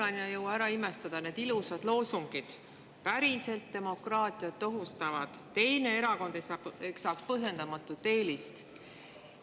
Kuulan ja ei jõua ära imestada – need ilusad loosungid: "päriselt demokraatiat ohustavad", "teine erakond saab põhjendamatut eelist".